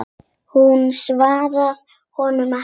Hún svaraði honum ekki.